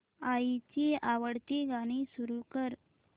आईची आवडती गाणी सुरू कर